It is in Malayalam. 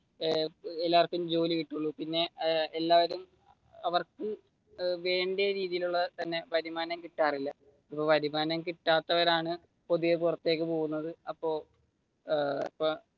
എല്ലാവര്ക്കും ജോലി കിട്ടുകയുള്ളു പിന്നെ എല്ലാവരും അവർക്ക് വേണ്ട രീതിയിൽ ഉള്ള വരുമാനം കിട്ടാർ ഇല്ല ഇപ്പൊ വരുമാനം കിട്ടാത്തവർ ആണ് പുതിയ പുറത്തേക്ക് പോവുന്നത് അപ്പൊ ഏർ